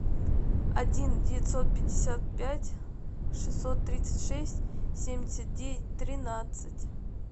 один девятьсот пятьдесят пять шестьсот тридцать шесть семьдесят девять тринадцать